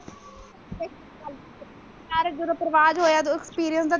ਯਾਰ ਜਦੋਂ ਪਰਵਾਜ਼ ਹੋਇਆ ਓਦੋਂ experience ਦਾ।